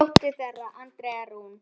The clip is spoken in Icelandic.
Dóttir þeirra Andrea Rún.